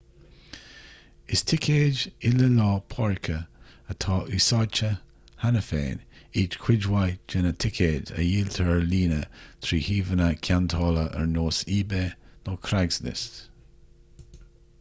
is ticéid il-lá páirce atá úsáidte cheana féin iad chuid mhaith de na ticéid a dhíoltar ar líne trí shuíomhanna ceantála ar nós ebay nó craigslist